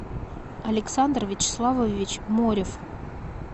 александр вячеславович морев